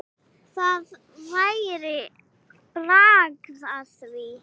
Það væri bragð af því!